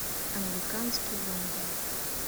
американский вандал